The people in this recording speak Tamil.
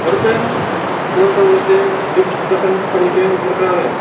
ஒருத்தர் இன்னொருத்தவங்களுக்கு கிஃப்ட் ப்ரசென்ட் பண்ணிட்டு இருக்கறாங்க.